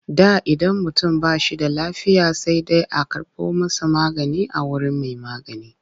Da idan mutum ba shi da lafiya sai dai a karɓo masa magani a wurin mai magani.